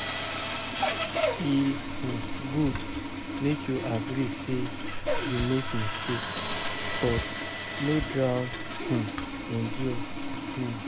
E gud mek yu agree say yu mek mistake, but no drown in guilt